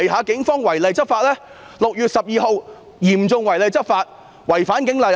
警方於6月12日嚴重違例執法，違反《警察通例》。